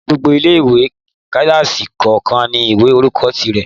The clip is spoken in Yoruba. Ní gbogbo ilé-ìwé, kílásì kọ̀ọ̀kan ní ìwé orúkọ ti rẹ̀